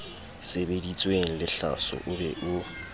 sebeditsweng lehlaso o be o